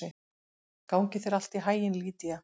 Gangi þér allt í haginn, Lýdía.